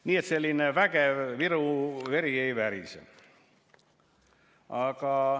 Nii et selline vägev Viru veri ei värise.